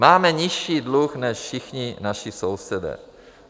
Máme nižší dluh než všichni naši sousedé.